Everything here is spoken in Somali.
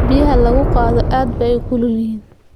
Biyaha lagu dhaqo aad bay u kulul yihiin.